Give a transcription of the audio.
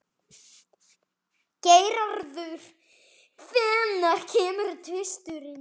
Geirarður, hvenær kemur tvisturinn?